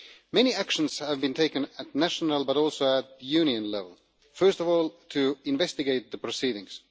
Many actions have been taken at national, but also at Union, level, first of all to investigate the proceedings.